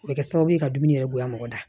O bɛ kɛ sababu ye ka dumuni yɛrɛ bonya mɔgɔ da